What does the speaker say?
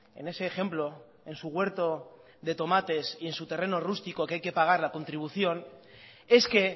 en ese ejemplo en su huerto de tomates y en su terreno rústico que hay que pagar la contribución es que